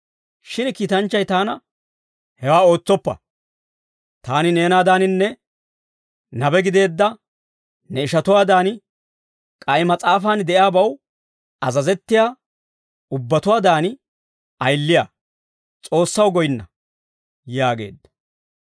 Shin kiitanchchay taana, «Hewaa ootsoppa. Taani neenaadaaninne nabe gideedda ne ishatuwaadan, k'ay mas'aafan de'iyaabaw azazettiyaa ubbatuwaadan ayiliyaa. S'oossaw goyinna» yaageedda.